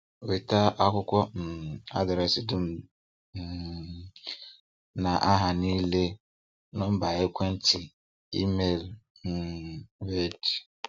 Weta akwụkwọ um adreesị dum um na aha niile, nọmba ekwentị, email niile um wdg.